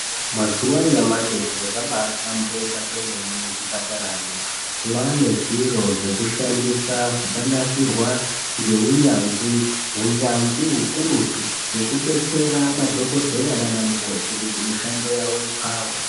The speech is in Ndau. Mazuva anyamashi zviro zvabahlamburika kwemene muzvipataramwo. Mwane zviro zvekushandisa zvakanasirwa ngeunyanzvi unyanzvi hukurutu. Zvekubetsera madhogodheya nana mukoti kuti mishando yavo ipfave.